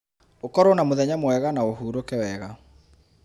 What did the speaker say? ũkorwo na mũthenya mwega na ũhurũke wega.